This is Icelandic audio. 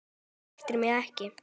Þú þekktir mig ekki.